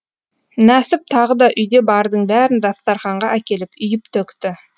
нәсіп тағы да үйде бардың бәрін дастарқанға әкеліп үйіп төкті